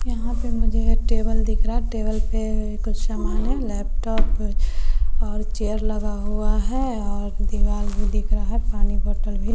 यहाँ पे मुझे ये टेबल दिख रहा है टेबल पे कुछ समान है लैपटॉप और चेयर लगा हुआ है और दीवाल भी दिख रहा है पानी बोतल भी --